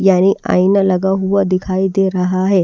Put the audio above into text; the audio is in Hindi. यानी आईना लगा हुआ दिखाई दे रहा है।